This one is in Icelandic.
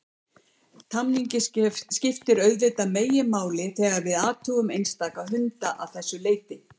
Tamningin skiptir auðvitað meginmáli þegar við athugum einstaka hunda að þessu leyti.